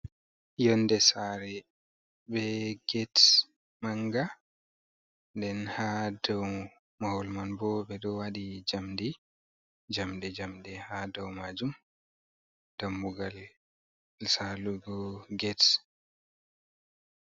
Yonde sare be getes manga den ha dou mahol man bo ɓeɗo wadi jamndi, jamde njamde ha dou majum dammugal salugo getes.